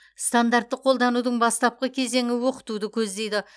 стандартты қолданудың бастапқы кезеңі оқытуды көздейді